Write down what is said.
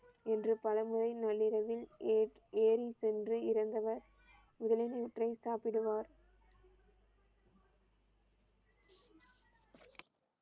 என்று பல முறை நள்ளிரவில் ஏ~ ஏரில் சென்று இறந்தவர் வயிற்றில் சாப்பிடுவார்.